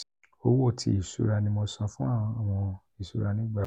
owo ti iṣura mi ni mo san fun awọn iṣura nigba pos!